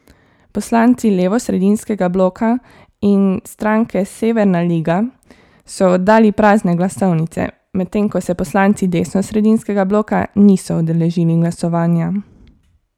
Poslanci levosredinskega bloka in stranke Severna liga so oddali prazne glasovnice, medtem ko se poslanci desnosredinskega bloka niso udeležili glasovanja.